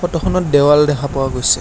ফটোখনত দেৱাল দেখা পোৱা গৈছে।